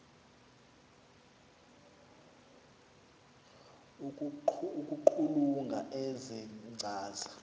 ukuqulunqa ezi nkcaza